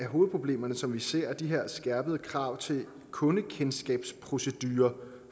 hovedproblemer som vi ser er de her skærpede krav til kundekendskabsprocedurer